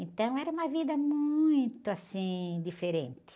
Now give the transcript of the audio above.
Então era uma vida muito, assim, diferente.